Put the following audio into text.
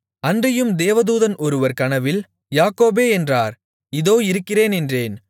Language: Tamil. அன்றியும் தேவதூதன் ஒருவர் கனவில் யாக்கோபே என்றார் இதோ இருக்கிறேன் என்றேன்